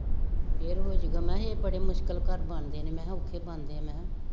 ਫੇਰ ਹੋ ਜਾਊਗਾ, ਮੈਂ ਕਿਹਾ ਇਹ ਬੜੀ ਮੁਸ਼ਕਿਲ ਘਰ ਬਣਦੇ ਨੇ, ਮੈਂ ਕਿਹਾ ਔਖੇ ਬਣਦੇ ਮੈਂ ਕਿਹਾ